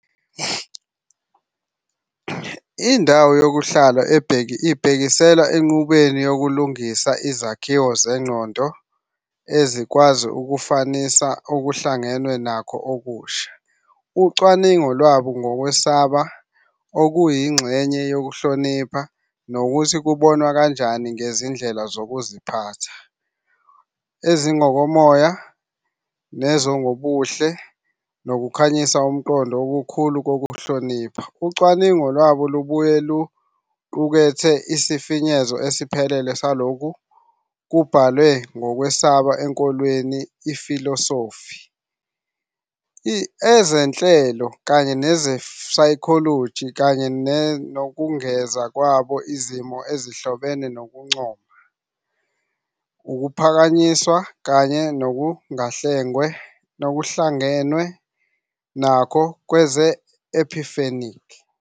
"Indawo yokuhlala ibhekisela "Enqubweni yokulungisa izakhiwo zengqondo ezingakwazi ukufanisa okuhlangenwe nakho okusha". Ucwaningo lwabo ngokwesaba, okuyingxenye yokuhlonipha, nokuthi kubonwa kanjani ngezindlela zokuziphatha, ezingokomoya, nezobuhle, lukhanyisa ukuqonda okukhulu kokuhlonipha. Ucwaningo lwabo lubuye luqukethe isifinyezo esiphelele salokho okuye "Kubhalwe ngokwesaba enkolweni, ifilosofi, ezenhlalo, kanye ne-psychology" kanye nokungeza kwabo "Izimo ezihlobene njengokuncoma, ukuphakanyiswa, kanye nokuhlangenwe nakho kwe-epiphanic".